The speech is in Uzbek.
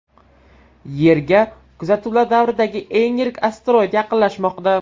Yerga kuzatuvlar davridagi eng yirik asteroid yaqinlashmoqda.